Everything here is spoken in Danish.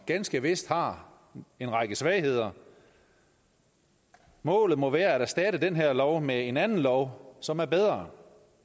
ganske vist har en række svagheder målet må være at erstatte den her lov med en anden lov som er bedre